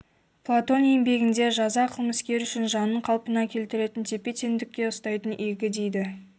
платон еңбегінде жаза қылмыскер үшін жанын қалпына келтіретін тепе-теңдікте ұстайтын игі дейді